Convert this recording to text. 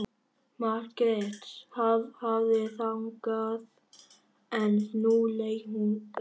Margrét hafði þagað en nú leit hún upp.